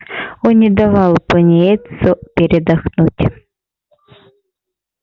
он не давал пониетсу передохнуть